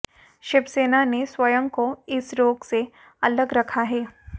शिवसेना ने स्वयं को इस रोक से अलग रखा है